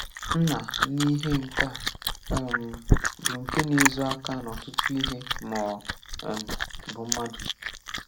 Nna n’ihe nka um bụ nke na-ezo aka na ọtụtụ ihe ma ọ um bụ mmadụ.